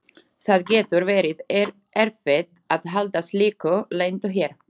Það getur verið erfitt að halda slíku leyndu hér.